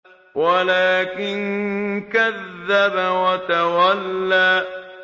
وَلَٰكِن كَذَّبَ وَتَوَلَّىٰ